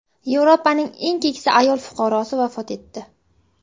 Yevropaning eng keksa ayol fuqarosi vafot etdi.